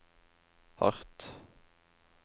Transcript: hardt